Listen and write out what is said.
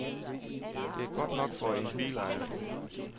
Det er godt nok for en bilejer.